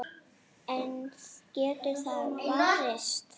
En getur það varist?